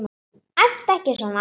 Æptu ekki svona!